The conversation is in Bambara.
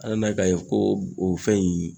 An nana ka n'a ye ko o fɛn in